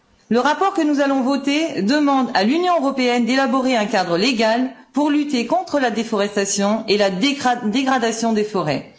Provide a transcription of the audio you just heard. Le rapport que nous allons voter demande à l'Union européenne d'élaborer un cadre légal pour lutter contre la déforestation et la dégradation des forêts.